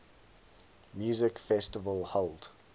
music festival held